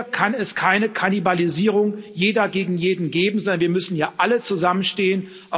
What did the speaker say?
Hier kann es keine Kannibalisierung Jeder gegen jeden geben, sondern wir müssen hier alle zusammenstehen.